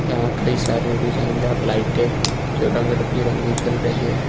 यहां कई सारे डिजाइनदार लाइटें जो रंग बिरंगी जल रही है।